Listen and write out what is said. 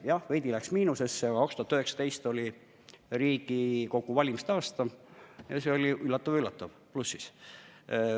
Jah, veidi läks eelarve miinusesse, aga 2019 oli Riigikogu valimiste aasta ja see oli, üllatav-üllatav, plussis.